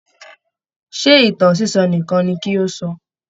Ṣé ìtàn sísọ nìkan ni kí ó sọ?